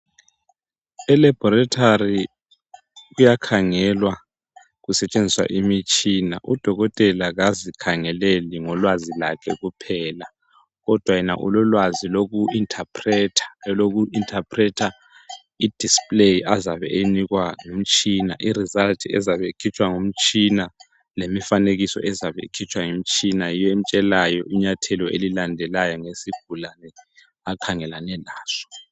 Elaborithari kuyakhangelwa kusetshenziswa imitshina odokotela kazikhangeleli ngolwazi lakhe phela kodwa yena ulolwazi loku inthapretha, inthapretha i displayi azabe eyinikwa yimitshina i result ezabe ikhitshwa ngumtshina lemifanekiso ezabe ikhitshwa ngumtshina yiyo emtshelayo inyathelo elilandelayo ngesigulane akhangelane laso.